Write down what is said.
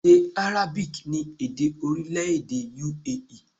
Èdè Arabic ni èdè orílẹ̀-èdè U.A.E